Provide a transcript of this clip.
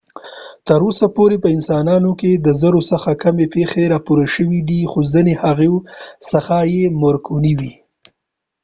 تر اوسه پورې په انسانانو کې د زرو څخه کمې پیښې راپور شوي خو ځینې د هغو څخه یې مرګونې وې